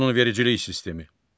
Qanunvericilik sistemi.